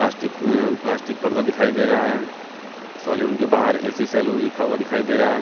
Plastic uh plastic पर्दा दिखाई दे रहा है सैलून के बाहर ए_सी सैलून लिखा हुआ दिखाई दे रहा है।